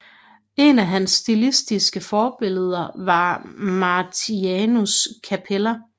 Et af hans stilistiske forbilleder var Martianus Capella